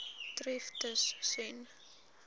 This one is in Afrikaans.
tref tus sen